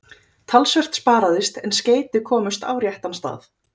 Talsvert sparaðist en skeyti komust á réttan stað.